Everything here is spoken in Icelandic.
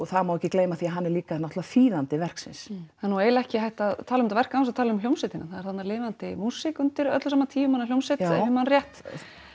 það má ekki gleyma því að hann er líka þýðandi verksins það er eiginlega ekki hægt að tala um verk án þess að tala um hljómsveitina það er þarna lifandi músík undir öllu saman tíu manna hljómsveit ef ég man rétt